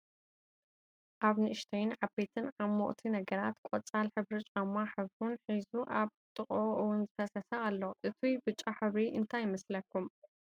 ኣብ ንእሽተይን ዓበይን ዓሞቅቲ ነገራት ቆፂል ሕብሪን ብጫ ሕብሩን ሒዙ ኣብ ጥቅኡ እውን ዝፈሰሰ ኣሎ። እቱይ ብጫ ሕብሪ እንታይ ይመስለኩም?